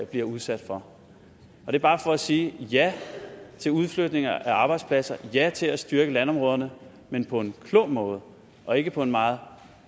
bliver udsat for det er bare for at sige ja til udflytninger af arbejdspladser og ja til at styrke landområderne men på en klog måde og ikke på en meget